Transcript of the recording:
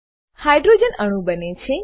hydrogen અણુ બને છે